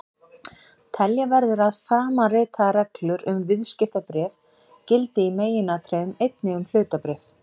Telja verður að framanritaðar reglur um viðskiptabréf gildi í meginatriðum einnig um hlutabréf.